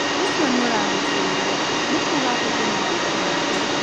ũcio nĩ ũragucĩrĩria. Nĩ kuuga atĩ kwĩna mathoko maingĩ.